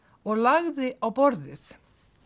og lagði á borðið